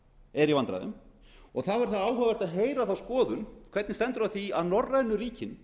er í vandræðum og þá er áhugavert að heyra þá skoðun hvernig stendur á því að norrænu ríkin